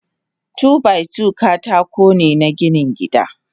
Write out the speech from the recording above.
Two by two katakone na ginin gida.